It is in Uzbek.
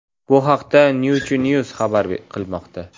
Bu haqda Nature News xabar qilmoqda .